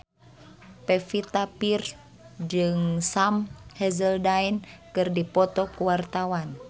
Pevita Pearce jeung Sam Hazeldine keur dipoto ku wartawan